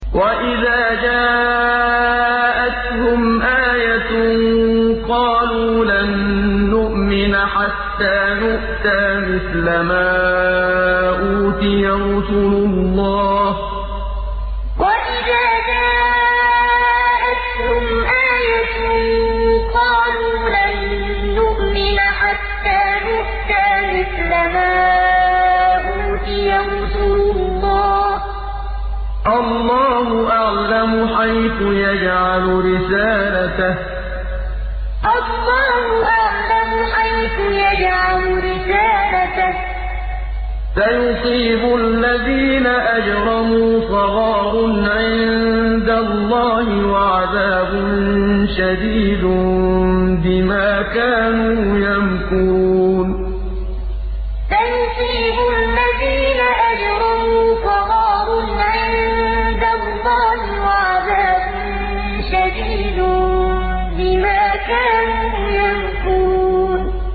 وَإِذَا جَاءَتْهُمْ آيَةٌ قَالُوا لَن نُّؤْمِنَ حَتَّىٰ نُؤْتَىٰ مِثْلَ مَا أُوتِيَ رُسُلُ اللَّهِ ۘ اللَّهُ أَعْلَمُ حَيْثُ يَجْعَلُ رِسَالَتَهُ ۗ سَيُصِيبُ الَّذِينَ أَجْرَمُوا صَغَارٌ عِندَ اللَّهِ وَعَذَابٌ شَدِيدٌ بِمَا كَانُوا يَمْكُرُونَ وَإِذَا جَاءَتْهُمْ آيَةٌ قَالُوا لَن نُّؤْمِنَ حَتَّىٰ نُؤْتَىٰ مِثْلَ مَا أُوتِيَ رُسُلُ اللَّهِ ۘ اللَّهُ أَعْلَمُ حَيْثُ يَجْعَلُ رِسَالَتَهُ ۗ سَيُصِيبُ الَّذِينَ أَجْرَمُوا صَغَارٌ عِندَ اللَّهِ وَعَذَابٌ شَدِيدٌ بِمَا كَانُوا يَمْكُرُونَ